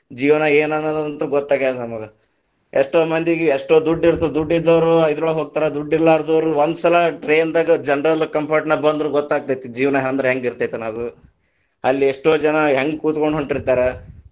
ಜೀವನ ಏನ್‌ ಅನ್ನೋದಂತ್ರು ಗೊತ್ತಾಗೇದ ನಮಗ್‌, ಎಷ್ಟೋ ಮಂದಿಗ ಎಷ್ಟೋ ದುಡ್ಡ ಇರ್ತದ ದುಡ್ಡ ಇದ್ದೋರ ಆ ಇದರೋಳಗ್ ಹೋಗ್ತಾರ, ದುಡ್ಡ ಇಲಾ೯ದ೯ವರು ಒಂದ ಸಲಾ train ದಾಗ general compartment ದಾಗ ಬಂದ್ರ ಗೋತ್ತಾಗತೇತಿ, ಜೀವನಾ ಅಂದ್ರ ಹೆಂಗ ಇರ್ತೇತಿ ಅನ್ನೋದು, ಅಲ್ಲಿ ಎಷ್ಟೇ ಜನಾ ಹೆಂಗ ಕುತಗೊಂಡ ಹೊಂಟಿತಾ೯ರ.